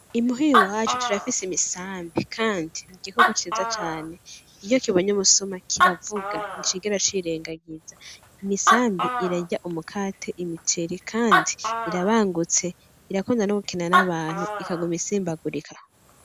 Imuhira iwacu turafise imisambi kandi n'igikoko ciza cane iyo kibonye umusuma kiravuga nticigera c'irengagiza. Imisambi irarya: umukate, imiceri kandi irabangutse irakunda gukina n'abantu ikaguma isimbagurika.